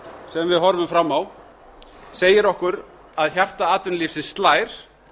sem við horfum fram á segir okkur að hjarta atvinnulífsins slær